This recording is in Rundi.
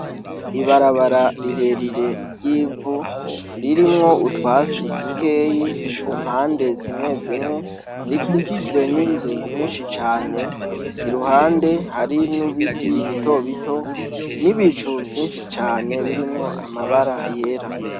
Ibarabara rirerire ry'ivu ririmwo utwatsi dukeyi ku mpande zimwe zimwe, rikikijwe n'inzu nyinshi cane, iruhande hari n'ibiti bitobito n'ibicu vyinshi cane birimwo amabara yera.